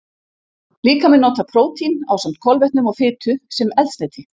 Líkaminn notar prótín, ásamt kolvetnum og fitu, sem eldsneyti.